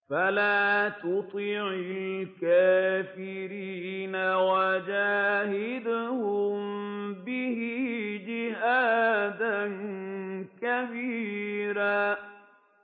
فَلَا تُطِعِ الْكَافِرِينَ وَجَاهِدْهُم بِهِ جِهَادًا كَبِيرًا